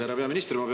Härra peaminister!